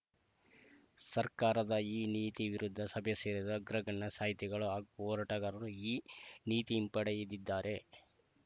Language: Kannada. ಸರ್ಕಾರದ ಈ ನೀತಿ ವಿರುದ್ಧ ಸಭೆ ಸೇರಿದ ಅಗ್ರಗಣ್ಯ ಸಾಹಿತಿಗಳು ಹಾಗೂ ಹೋರಾಟಗಾರರು ಈ ನೀತಿಹಿಂಪಡೆಯದಿದ್ದರೆ